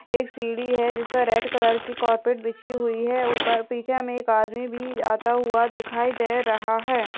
एक सीडी है जिसपे रेड कलर की कार्पेट बिछी हुई है उपर पीछे में एक आदमी भी आता हुआ दिखाई दे रहा है।